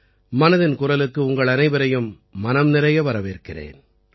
மனதின் குரலுக்கு உங்கள் அனைவரையும் மனம் நிறைய வரவேற்கிறேன்